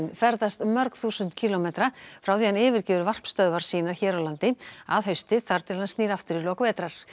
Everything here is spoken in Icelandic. ferðast mörg þúsund kílómetra frá því hann yfirgefur varpstöðvar sínar hér á landi að hausti þar til hann snýr aftur í lok vetrar